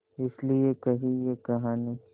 इस लिये कही ये कहानी